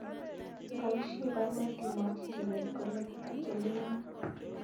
Bayiisyee baruet imwachi Chebet kole achelewani